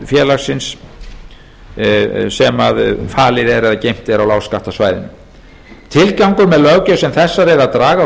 félagsins sem falið er eða geymt er á lágskattasvæðinu tilgangur með löggjöf sem þessari er að draga úr